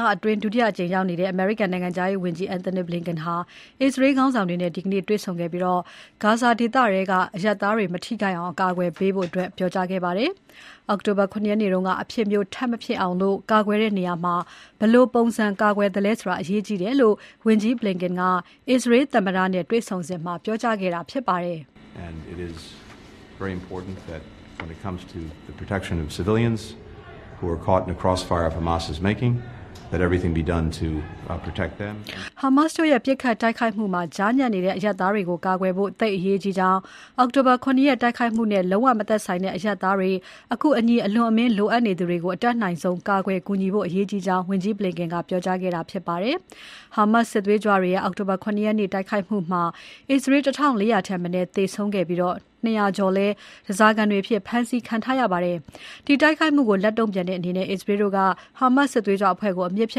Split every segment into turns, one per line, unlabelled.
လအတွင်း ဒုတိယအကြိမ် အရှေ့အလယ်ပိုင်းဒေသမှာရောက်နေတဲ့ အမေရိကန်နိုင်ငံခြားရေးဝန်ကြီး Antony Blinken ဟာ အစ္စရေးခေါင်းဆောင်တွေနဲ့ တွေ့ဆုံခဲ့ပြီး ဂါဇာဒေသထဲက အရပ်သားတွေ မထိခိုက်အောင် ကာကွယ်ရမယ်လို့ ပြောကြားခဲ့ပါတယ်။ အောက်တိုဘာ ၇ ရက်နေ့က အဖြစ်မျိုးထပ်မဖြစ်အောင် အစ္စရေးတို့ ကာကွယ်တဲ့နေရာမှာ ဘယ်လိုပုံစံ ကာကွယ်သလဲဆိုတာ အရေးကြီးတယ်လို့ ဝန်ကြီး Blinken က အစ္စရေးသမ္မတ Isaac Herzog တွေ့ဆုံစဉ် ပြောကြားခဲ့တာဖြစ်ပါတယ်
။ ဟာမ
တ
်စ်တို့ရဲ့ ပစ်ခတ်တိုက်ခိုက်မှုမှာ ကြားညပ်နေတဲ့အရပ်သားတွေကို ကာကွယ်ဖို့ သိပ်အရေးကြီးကြောင်း၊ အောက်တိုဘာ ၇ ရက်တိုက်ခိုက်မှုနဲ့ လုံးဝမဆိုင်တဲ့အရပ်သားတွေ၊ အကူအညီ အလွန်အမင်းလိုအပ်နေသူတွေကို အတတ်နိုင်ဆုံး ကာကွယ် ကူညီဖို့ အရေးကြီးကြောင်း၊ ဝန်ကြီး Blinken က ပြောကြားခဲ့တာဖြစ်ပါတယ်။ ဟာမတ်စ်စစ်သွေးကြွတွေရဲ့ အောက်တိုဘာ ၇ ရက်နေ့တိုက်ခိုက်မှုမှာ အစ္စရေး ၁၄၀၀ ထက်မနည်းသေဆုံးခဲ့ပြီး ၂၀၀ ကျော်လည်း ဓါးစာခံအဖြစ် ဖမ်းဆီးခံထားရပါတယ်။ အဲဒီတိုက်ခိုက်မှုကို လက်တုံ့ပြန်တဲ့အနေနဲ့ အစ္စရေးတို့က ဟာမတ်စ်စစ်သွေးကြွအဖွဲ့ကို အမြစ်ဖြ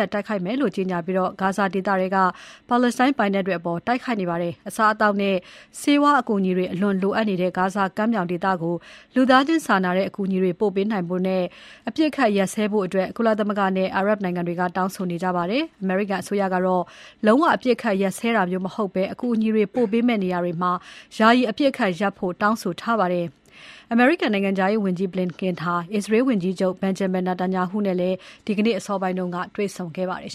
တ်တိုက်ခိုက်မယ်လို့ ကြေညာပြီး ဂါဇာဒေသထဲက ပါလက်စတိုင်းပိုင်နက်တွေကို တိုက်ခိုက်နေပါတယ်။ အစားအသောက်နဲ့ ဆေးဝါးအကူအညီတွေ အလွန်လိုအပ်နေတဲ့ ဂါဇာကမ်းမြောင်ဒေသကို လူသားချင်းစာနာတဲ့ အကူအညီတွေ ပို့ပေးနိုင်ဖို့ အပစ်အခတ်ရပ်စဲဖို့ ကုလသမဂ္ဂနဲ့ အာရပ်နိုင်ငံတွေက တောင်းဆိုနေကြပါတယ်။ အမေရိကန်အစိုးရကတော့ လုံးဝအပစ်အခတ်ရပ်စဲတာမျိုးမဟုတ်ဘဲ၊ အကူအညီ ပို့ပေးမယ့်နေရာတွေမှာ ယာယီအပစ်အခတ်ရပ်ဖို့ တောင်းဆိုထားပါတယ်။ နိုင်ငံခြားရေးဝန်ကြီး Blinken ဟာ အစ္စရေးဝန်ကြီးချုပ် Benjamin Netanyahu နဲ့လည်း ဒီနေ့ အစောပိုင်းက တွေ့ဆုံခဲ့ပါတယ်